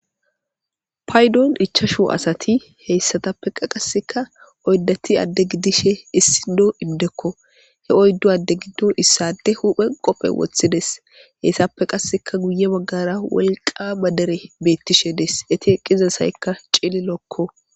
paydon ichashu asati heyssatappe qa qaseka oyddati adde gidishe issi do indekko he oyddu adde giddo issade huphe qophe woththides heyssappe qasseka guye baggara wolqa madere beettishe des eti eqqiza sayykka cillilookko